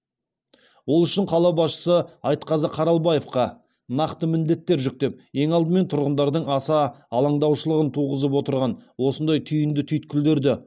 ол үшін қала басшысы айтқазы қаралабаевқа нақты міндеттер жүктеп ең алдымен тұрғындардың аса алаңдаушылығын туғызып отырған осындай түйінді түйткілдерді